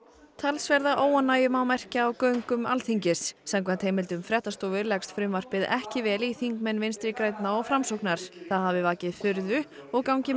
talsverða óánægju má merkja á göngum Alþingis samkvæmt heimildum fréttastofu leggst frumvarpið ekki vel í þingmenn Vinstri grænna og Framsóknar það hafi vakið furðu og gangi